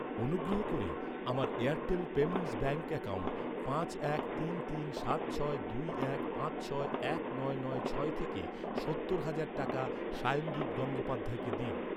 অনুগ্রহ করে আমার এয়ারটেল পেমেন্টস ব্যাঙ্ক অ্যাকাউন্ট পাঁচ এক তিন তিন সাত ছয় দুই এক পাঁচ ছয় এক নয় নয় ছয় থেকে সত্তর হাজার টাকা শায়নদীপ গঙ্গোপাধ্যায়কে দিন।